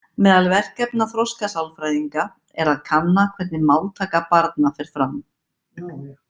Meðal verkefna þroskasálfræðinga er að kanna hvernig máltaka barna fer fram.